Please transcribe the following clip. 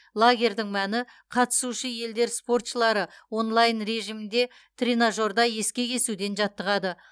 лагерьдің мәні қатысушы елдер спортшылары онлайн режимінде тренажерде ескек есуден жаттығады